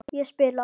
Ég spila!